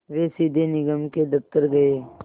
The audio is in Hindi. वे सीधे निगम के दफ़्तर गए